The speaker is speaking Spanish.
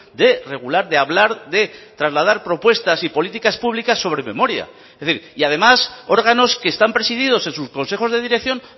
de regular de hablar de trasladar propuestas y políticas públicas sobre memoria es decir y además órganos que están presididos en sus consejos de dirección